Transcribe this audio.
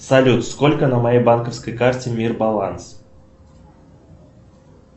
салют сколько на моей банковской карте мир баланс